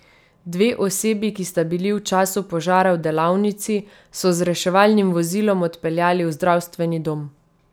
Dve osebi, ki sta bili v času požara v delavnici, so z reševalnim vozilom odpeljali v zdravstveni dom.